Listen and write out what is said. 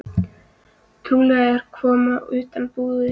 Trúlega að koma utan úr búð.